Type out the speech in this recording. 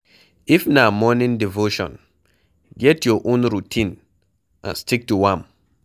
if na morning devotion, get your own routine and stick to am